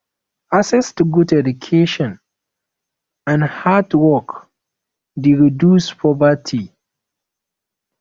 access to good education and hard work de reduce poverty